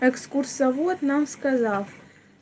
экскурсовод нам сказал